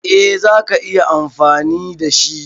Eh zaka iya amfani da shi.